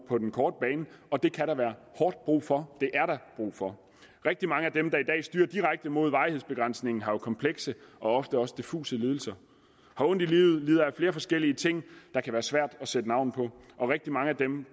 på den korte bane og det kan der være hårdt brug for det rigtig mange af dem der i dag styrer direkte mod varighedsbegrænsningen har jo komplekse og ofte også diffuse lidelser har ondt i livet lider af flere forskellige ting der kan være svære at sætte navn på og rigtig mange af dem